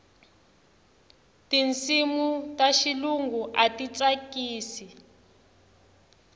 tinsimu ta xilungu a ti tsakisi